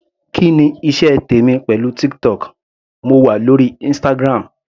Kí ni iṣẹ́ tèmi pẹ̀lú TikTok, mo wà lórí Instagram.